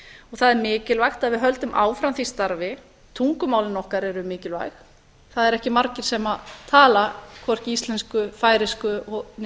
það er mikilvægt að við höldum áfram því starfi tungumálin okkar eru mikilvæg það er ekki margir sem tala hvorki íslensku færeysku né